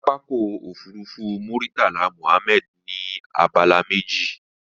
Pápákọ̀ òfurufú Murtala Muhammed ní abala méjì